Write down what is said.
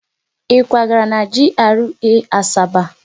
Ị kwagara na GRA Asaba?